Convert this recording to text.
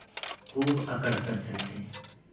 खूब अकड़ कर चलते